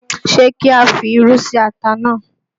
Ṣé kí á fi irú sí ata náà?